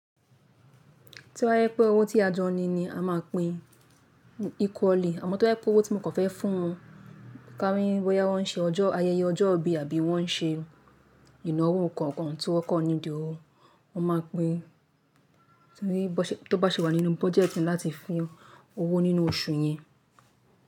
To bá jẹ́ pé owó tí a jọ ni ni a máa pin equally. Àmọ́ to bá jẹ́ pé owó tí mo kan fẹ́ fún wọn, ká ní bóyá wọ́n ṣe ayẹyẹ ọjọ́ ìbí àbí wọ́n ṣe ìnáwó nǹkan kan tí wọ́n kọ́ need owó, wọn máa pín. Tó bá ṣe wà nínú budget láti fún owó nínú oṣù yẹn.